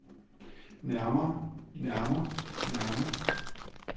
nærmer nærmer nærmer